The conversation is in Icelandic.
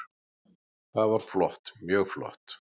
Það var flott, mjög flott.